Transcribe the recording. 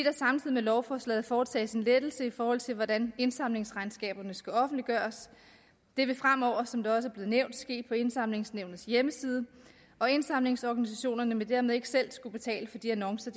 med lovforslaget foretages en lettelse i forhold til hvordan indsamlingsregnskaberne skal offentliggøres det vil fremover som det også er blevet nævnt ske på indsamlingsnævnets hjemmeside og indsamlingsorganisationerne vil dermed ikke selv skulle betale for de annoncer